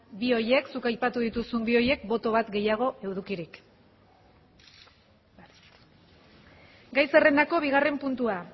bi horiek zuk aipatu dituzun bi horiek boto bat gehiago edukirik gai zerrendako bigarren puntua